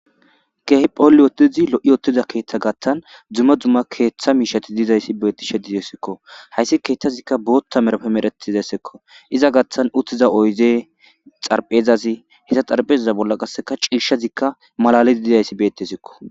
keehi phoolli wotizi lo7i ottida keeththa gattan dumma dumma keeththa miishati dizayssi beettishe dizesekko hayssi keeththazikka bootta merapemeretizayssekko iza gattan uttiza oyze xarphezazi heta xarphezaza bolla qasseka ciishazikka malalii dizayssi bettesekko